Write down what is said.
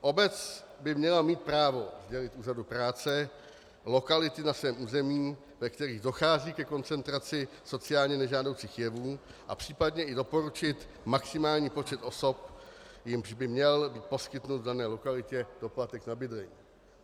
Obec by měla mít právo sdělit úřadu práce lokality na svém území, ve kterých dochází ke koncentraci sociálně nežádoucích jevů, a případně i doporučit maximální počet osob, jimž by měl být poskytnut v dané lokalitě doplatek na bydlení.